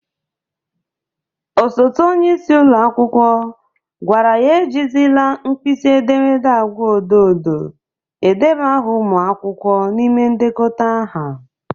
Osote onyeisi ụlọ akwụkwọ gwara ya e jizịla nkpịsị edemede agwa odo odo edeba aha ụmụ akwụkwọ n'ime ndekọta aha.